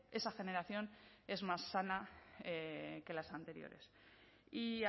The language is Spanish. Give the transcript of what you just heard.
esa generación es más sana que las anteriores y